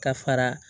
Ka fara